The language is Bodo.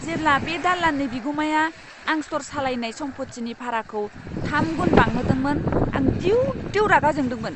जेब्ला बे दालाननि बिगुमाया आं स्ट'र सालायनाय सम्पतिनि भाराखौ थाम गुन बांहोदोंमोन, आं दिउ दिउ रागा जोंदोंमोन!